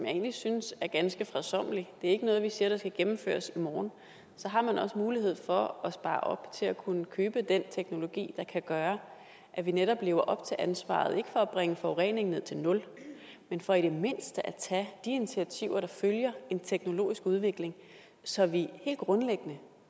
egentlig synes er ganske fredsommelig det er ikke noget vi siger skal gennemføres i morgen så har man også mulighed for at spare op til at kunne købe den teknologi der kan gøre at vi netop lever op til ansvaret ikke for at bringe forureningen ned til nul men for i det mindste at tage de initiativer der følger af en teknologisk udvikling så vi helt grundlæggende